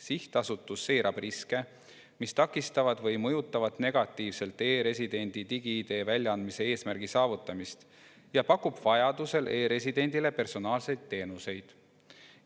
Sihtasutus seirab riske, mis takistavad või mõjutavad negatiivselt e‑residendi digi‑ID väljaandmise eesmärgi saavutamist, ja pakub vajaduse korral e‑residendile personaalseid teenuseid.